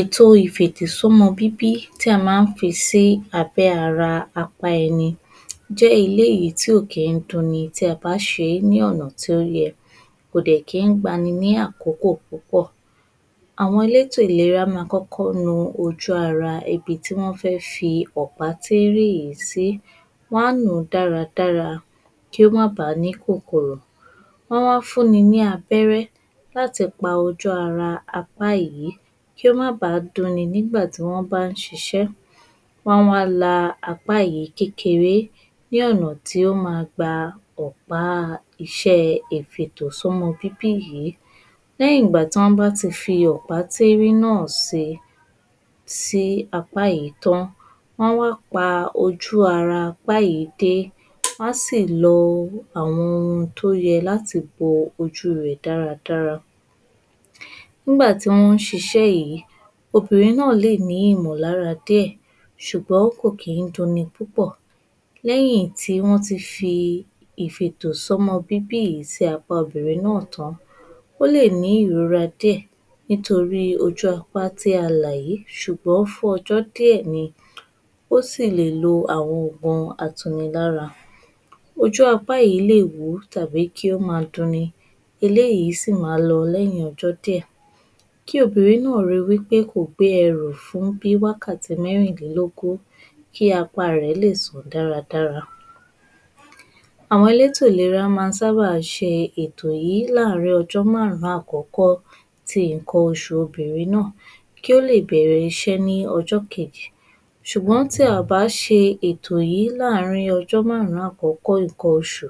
Ètò ìfètò sí ọmọ bíbí tí a máa ń fi sí abẹ́ ara apá ẹni jẹ́ eléyìí tí ò kí ń dun ni tí ẹ bá ṣe é ní ọ̀nà tí ó yẹ, kò dẹ̀ kí ń gba ni ní àkókò púpọ̀. Àwọn elétò ìlera máa kọ́kọ́ nu ojú ara ibi tí wọ́n fẹ́ fi ọ̀pá tíírín yìí sí. Wọ́n á nù ú dáradára kí ó má bàá ní kòkòrò ọ́n á wá fún ni ní abẹ́rẹ́ láti pa ojú ara apá yìí kí ó má ba à dun ni nígbà tí wọ́n bá ń ṣiṣẹ́. Wọ́n á wá la apá yìí kékeré ní ọ̀nà tí ó ma gba ọ̀pá iṣẹ́ ìfètò sí ọmọ bíbí yìí lẹ́yìn ìgbà tí wọ́n bá ti fi ọ̀pá tíírín náà sí sí apá yìí tán, wọ́n á wá pa ojú ara apá yìí dé, wọ́n á sì lo àwọn ohun tó yẹ láti bo ojú rẹ̀ dáradára nígbà tí wọ́n ń ṣiṣẹ́ yìí obìnrin náà lè ní ìmọ̀lára díẹ̀ ṣùgbọ́n kò kí ń dun ni púpọ̀. Lẹ́yìn tí wọ́n ti fi ìfètò sọ́mọ bíbí yìí sí apá obìnrin náà tán Ó lè ní ìrora díẹ̀ nítorí ojú apá tí a là yìí ṣùgbọ́n fún ọjọ́ díẹ̀ ni ó sì lè lo àwọn oògùn atunilára. Ojú apá yìí lè wú tàbí kí ó máa dun ni. Eléyìí sì ma lọ lẹ́yìn ọjọ́ díẹ̀, kí obìnrin náà rí wí pé kò gbé ẹrù fún bí i wákàtí mẹ́rinlélógún, kí apá rẹ̀ lè sàn dáradára. Àwọn elétò ìlera máa ń sábà ṣe ètò yìí láàárin ọjọ́ márùn-ún àkọ́kọ́ ti nǹkan oṣù obìnrin náà kí ó lè bẹ̀rẹ̀ iṣẹ́ ní ọjọ́ kejì, ṣùgbọ́n tí a ò bá ṣe ètò yìí láàárín ọjọ́ márùn-ún àkọ́kọ́ nǹkan oṣù,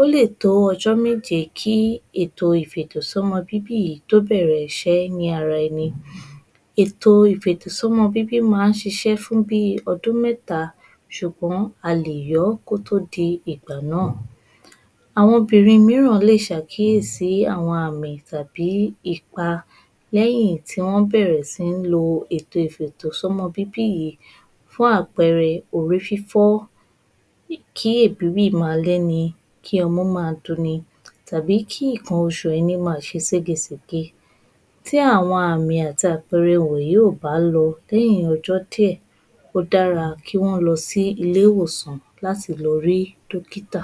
ó lè tó ọjọ́ méje kí nǹkan ìfètò sí ọmọ bíbí yìí tó bẹ̀rẹ̀ iṣẹ́ ní ara ẹni, ètò ìfètò sí ọmọ bíbí yìí máa ń ṣiṣẹ́ fún bíi ọdún mẹ́ta ṣùgbọ́n a lè yọ́ kó tó di ìgbà náà. Àwọn obìnrin mìíràn lè ṣàkíyèsí àwọn àmì tàbí ipa lẹ́yìn tí wọ́n bẹ̀rẹ̀ sí ní lo ètò ìfètò sí ọmọ bíbí yìí Fún àpẹẹrẹ orí fífọ́ kí èbíì máa gbé ni, kí ọmú máa dun ni tàbí kí nǹkan oṣù ẹni máa ṣe ségesège. Tí àwọn àmì àti àwọn àpẹẹrẹ wọ̀nyí ò bá lọ lẹ́yìn ọjọ́ díẹ̀ ó dára kí wọ́n lọ sí ilé ìwòsàn láti lọ rí dókítà.